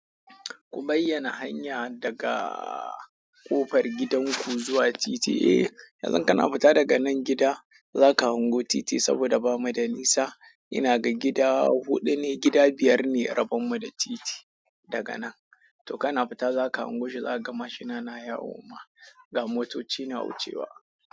Ku bayyana hanya daga ƙofar gidanku zuwa titi. Eh, yanzu kana fita daga nan gida, za ka hango titi saboda bamu da nisa. Ina ga gida huɗu ne, gida biyar ne rabon mu da titi daga nan. To kana fita za ka hango shi, za ka ga mashina na yawo ma, ga motoci na wucewa.